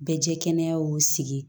Bɛ jɛ kɛnɛya y'u sigi